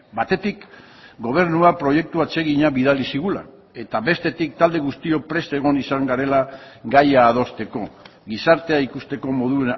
batetik gobernua proiektu atsegina bidali zigula eta bestetik talde guztiok prest egon izan garela gaia adosteko gizartea ikusteko modu